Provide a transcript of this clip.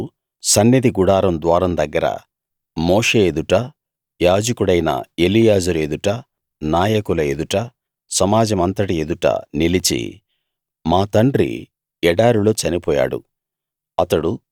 వారు సన్నిధి గుడారం ద్వారం దగ్గర మోషే ఎదుట యాజకుడైన ఎలియాజరు ఎదుట నాయకుల ఎదుట సమాజమంతటి ఎదుట నిలిచి మా తండ్రి ఎడారిలో చనిపోయాడు